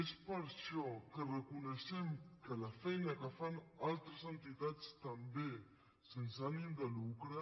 és per això que reconeixem que la feina que fan altres entitats també sense ànim de lucre